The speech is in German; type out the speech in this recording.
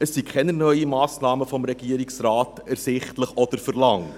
Es sind keine neuen Massnahmen des Regierungsrates ersichtlich oder verlangt.